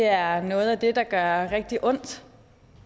er noget af det der gør rigtig ondt